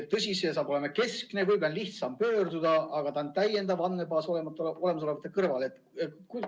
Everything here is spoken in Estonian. Tõsi, see saab olema keskne, võib-olla on ka lihtsam pöörduda, aga see on täiendav andmebaas olemasolevate kõrvale.